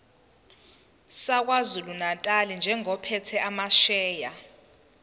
sakwazulunatali njengophethe amasheya